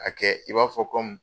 A kɛ i b'a fɔ kɔmi